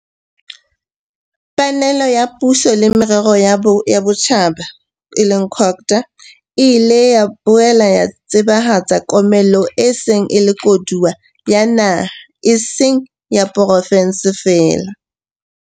panelo ya Puso le Merero ya Botjhaba, COGTA, le ile la boela la tsebahatsa komello e se e le koduwa ya naha e seng ya porofenseng feela.